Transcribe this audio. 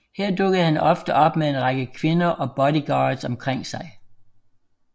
Her dukkede han ofte op med en rækker kvinder og bodyguards omkring sig